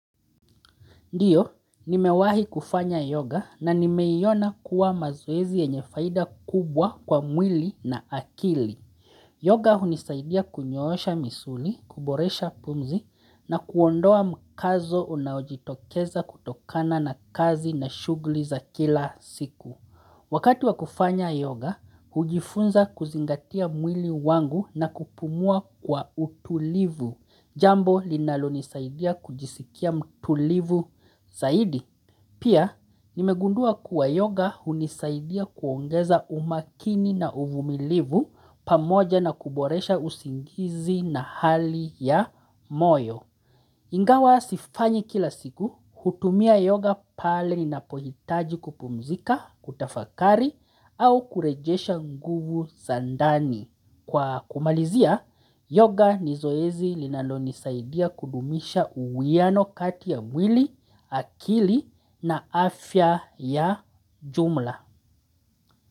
Ndiyo, nimewahi kufanya yoga na nimeiona kuwa mazoezi yenye faida kubwa kwa mwili na akili. Yoga hunisaidia kunyoosha misuli, kuboresha pumzi na kuondoa mkazo unaojitokeza kutokana na kazi na shugli za kila siku. Wakati wa kufanya yoga, hujifunza kuzingatia mwili wangu na kupumua kwa utulivu. Jambo linalonisaidia kujisikia mtulivu zaidi. Pia nimegundua kuwa yoga hunisaidia kuongeza umakini na uvumilivu pamoja na kuboresha usingizi na hali ya moyo. Ingawa sifanyi kila siku hutumia yoga pale ninapohitaji kupumzika, kutafakari au kurejesha nguvu za ndani. Kwa kumalizia, yoga ni zoezi linalonisaidia kudumisha uwiano kati ya mwili, akili na afya ya jumla.